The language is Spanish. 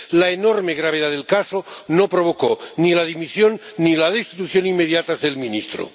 La enorme gravedad del caso no provocó ni la dimisión ni la destitución inmediatas del ministro.